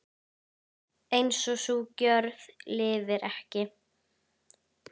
En sú gjörð lifir ekki.